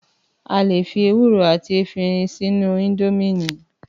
Àlè fì èwúrò àtí èfiírìn sìnù Ìndọ̀mí